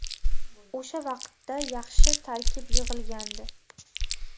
O‘sha vaqtda yaxshi tarkib yig‘ilgandi.